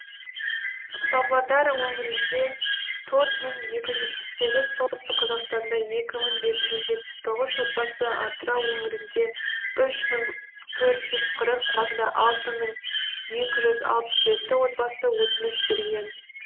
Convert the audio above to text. павлодар өңірінде төрт мың екі жүз жетпіс сегі солтүстік қазақстанда екі мың жеті жүз жетпіс тоғыз отбасы атырау өңірінде үш мың төрт жүз қырық батыс қазақстанда алты мың екі жүз алпыс жеті отбасы өтініш берген